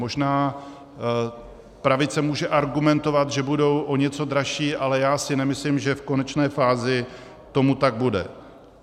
Možná pravice může argumentovat, že budou o něco dražší, ale já si nemyslím, že v konečné fázi tomu tak bude.